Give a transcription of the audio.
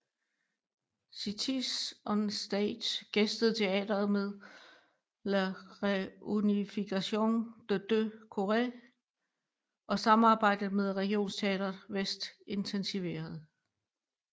Cities on Stage gæstede teatret med La Réunification des deux Corées og samarbejdet med Regionteater Väst intensiveredes